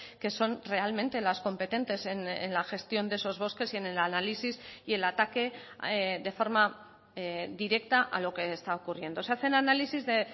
que son realmente las competentes en la gestión de esos bosques y en el análisis y el ataque de forma directa a lo que está ocurriendo se hacen análisis de